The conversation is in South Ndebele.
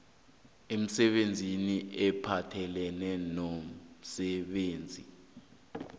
emisebenzini ephathelene nomsebenzi